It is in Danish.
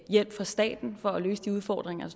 hjælp fra staten for at løse de udfordringer